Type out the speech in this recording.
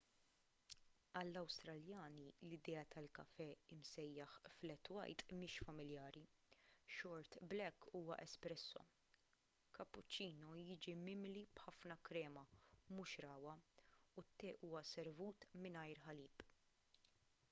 għall-awstraljani l-idea tal-kafè msejjaħ flat white” mhix familjari. short black” huwa espresso” kapuċċino jiġi mimli b’ħafna krema mhux ragħwa u t-te huwa servut mingħajr ħalib